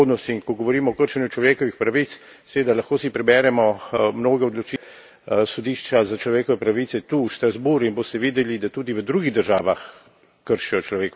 In ko govorimo o kršenju človekovih pravic, si seveda lahko preberemo mnoge odločitve Sodišča za človekove pravice tu, v Strasbourgu, in boste videli, da tudi v drugih državah kršijo človekove pravice.